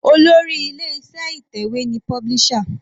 Olórí ilé iṣẹ́ ìtẹ̀wé ni publisher.